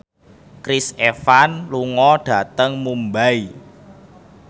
Chris Evans lunga dhateng Mumbai